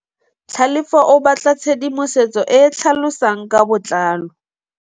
Tlhalefô o batla tshedimosetsô e e tlhalosang ka botlalô.